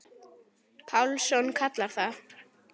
Pálsson kallar það.